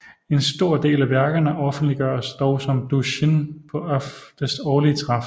En stor del af værkerne offentliggøres dog som doujinshi på oftest årlige træf